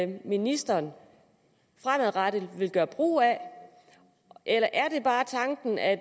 ministeren fremadrettet vil gøre brug af eller er det bare tanken at